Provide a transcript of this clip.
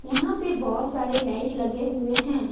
यहां पर बहोत सारे लाइट लगे हुए हैं।